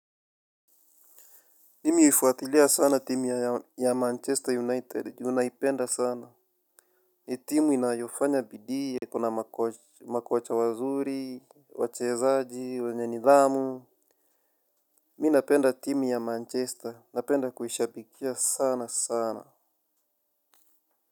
Mimi huifuatilia sana timu ya Manchester United juu naipenda sana. Hii timu inayofanya bidii ikona makocha wazuri, wachezaji, wenye nidhamu. Mi napenda timu ya Manchester, napenda kuishabikia sana sana.